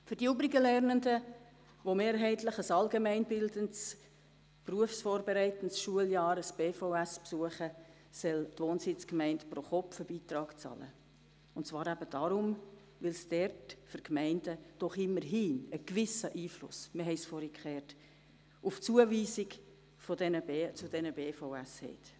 Für die übrigen Lernenden, die mehrheitlich ein allgemeinbildendes, berufsvorbereitendes Schuljahr, also ein BVS, besuchen, soll die Wohnsitzgemeinde einen Pro-KopfBeitrag bezahlen, und zwar deshalb, weil dort die Gemeinden doch immerhin einen gewissen Einfluss auf die Zuweisung zu den BVS haben.